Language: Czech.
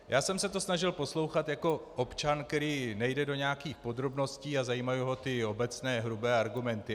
Já jsem se to snažil poslouchat jako občan, který nejde do nějakých podrobností a zajímají ho ty obecné, hrubé argumenty.